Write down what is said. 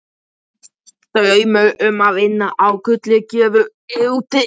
Draumurinn um að vinna á gulri gröfu er úti.